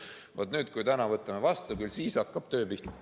Vaat nüüd, kui me täna võtame eelnõu vastu, küll siis hakkab töö pihta.